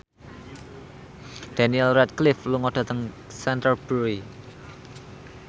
Daniel Radcliffe lunga dhateng Canterbury